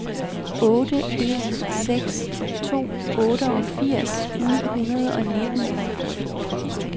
otte en seks to otteogfirs ni hundrede og nitten